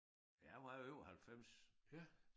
Ja han var jo 98